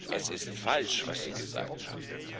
Es ist falsch, was Sie gesagt haben.